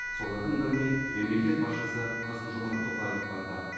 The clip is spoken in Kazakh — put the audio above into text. солардың біріне мемлекет басшысы қасым жомарт тоқаев барды